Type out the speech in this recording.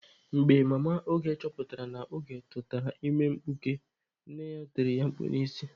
Mgbe mama Oge chọpụtara na Oge tụtara ime mkpuke, nne ya tiri ya mkpu n'isi.